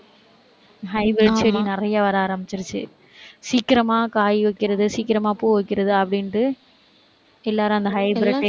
hybrid செடி நிறைய hybrid நிறைய வர ஆரம்பிச்சுடுச்சு. சீக்கிரமா காய் வைக்கிறது, சீக்கிரமா பூ வைக்கிறது அப்படின்ட்டு எல்லாரும் அந்த hybrid டே